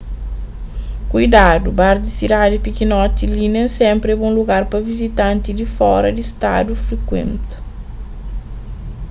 kuidadu bar di sidadi pikinoti li nen sénpri é bon lugar pa vizitanti di fora di stadu frikuenta